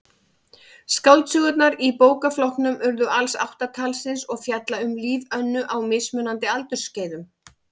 Skáldsögurnar í bókaflokknum urðu alls átta talsins og fjalla um líf Önnu á mismunandi aldursskeiðum.